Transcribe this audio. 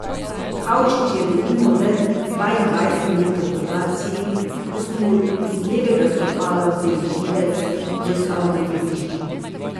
Kavčič je denimo le dvaindvajset dni po operaciji, ko so mu iz levega stopala vzeli živec, že stal na igrišču.